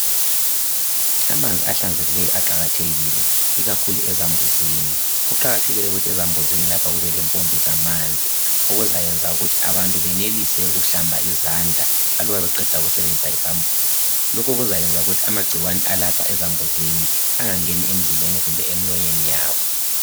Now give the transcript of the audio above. Amanzi ahlanzekileyo aqakathekile ikakhulu ezambuzini ,kuqakathekile ukuthi ezambuzini lapha kube lempompi zamanzi okuzayenza ukuthi abantu benelise ukuhlamba izandla aluba beqeda ukusebenzisa isambuzi loku kuzayenza ukuthi amagcikwane alapha ezambuzini angangeni emzimbeni kumbe emlonyeni yabo.